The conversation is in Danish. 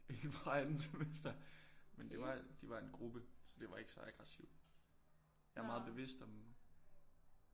En fra anden semester men det var de var en gruppe så det var ikke så aggressivt jeg er meget bevidst om